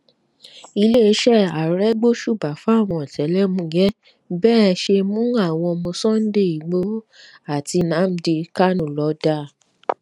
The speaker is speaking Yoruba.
iléeṣẹ ààrẹ gbóṣùbà fáwọn ọtẹlẹmuyẹ bẹ ẹ ṣe mú àwọn ọmọ sunday igboho àti nnamdi kanu lọ dáa